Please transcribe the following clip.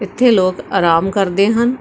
ਇੱਥੇ ਲੋਕ ਆਰਾਮ ਕਰਦੇ ਹਨ।